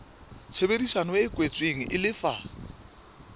tshebedisano e kwetsweng e lefa